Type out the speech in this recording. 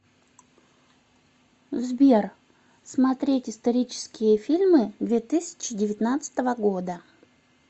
сбер смотреть исторические фильмы две тысячи девятнадцатого года